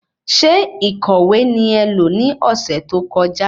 Ṣé ìkọ̀wé ni ẹ lo ni ọsẹ tó kọjá?